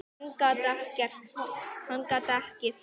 Hann gat ekki farið.